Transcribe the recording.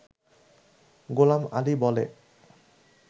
গোলাম আলি বলে